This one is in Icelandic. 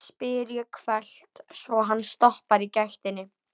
spyr ég hvellt, svo hann stoppar í gættinni.